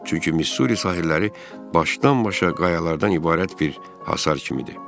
Çünki Missuri sahilləri başdan-başa qayalardan ibarət bir hasar kimidir.